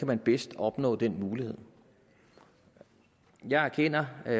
man bedst kan opnå den mulighed jeg erkender og